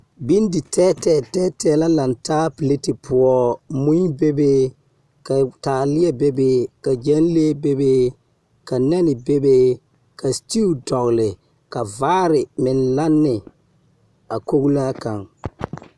Benditɛɛtɛɛ tɛɛtɛɛ la lantaa pileti poɔ, mui be be, ka taaleɛ be be, ka gyɛnlee be be, ka nɛne be be, ka setiwu dɔgle, ka vaare meŋ Lanne a koglaa kaŋ. 13400